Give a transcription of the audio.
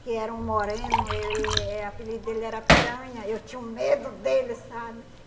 Que era um moreno, ele eh apelido dele era piranha, eu tinha um medo dele, sabe?